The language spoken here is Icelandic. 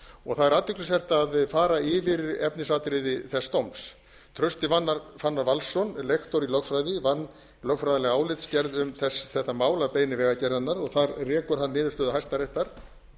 og það er athyglisvert að fara yfir efnisatriði þess dóms trausti fannar valsson lektor í lögfræði vann lögfræðilega álitsgerð um þetta mál að beiðni vegagerðarinnar og þar rekur hann niðurstöðu hæstaréttar